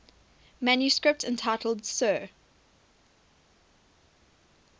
manuscript entitled 'sur